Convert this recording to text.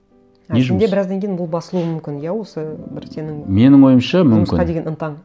не жұмыс а сенде біраздан кейін бұл басылуы мүмкін иә осы бір сенің менің ойымша мүмкін жұмысқа деген ынтаң